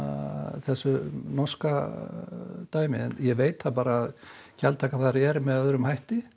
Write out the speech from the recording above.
þessu norska dæmi en veit að gjaldtakan er með öðrum hætti